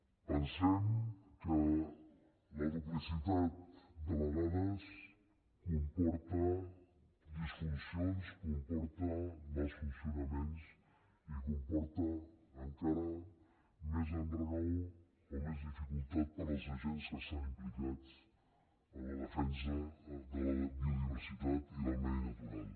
pensem que la duplicitat de vegades comporta disfuncions comporta mals funcionaments i comporta encara més enrenou o més dificultat per als agents que estan implicats en la defensa de la biodiversitat i del medi natural